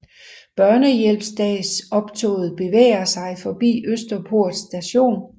Børnehjælpsdagsoptoget bevæger sig forbi Østerport Station